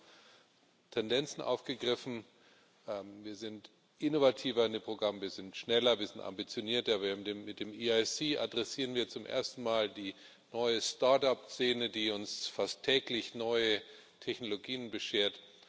Sie haben Tendenzen aufgegriffen Wir sind innovativer in dem Programm, wir sind schneller, wir sind ambitionierter, mit dem EISC adressieren wir zum ersten Mal die neue Start Up Szene, die uns fast täglich neue Technologien beschert.